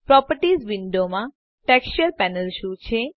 properties વિન્ડોમાંTexture panel શું છે